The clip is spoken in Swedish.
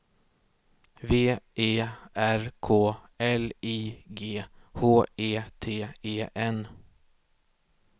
V E R K L I G H E T E N